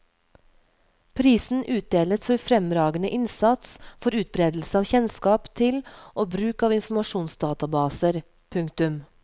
Prisen utdeles for fremragende innsats for utbredelse av kjennskap til og bruk av informasjonsdatabaser. punktum